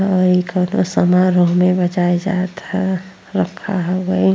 आ इ का तो सामान रहे बजात जात ह रखा हवोइ।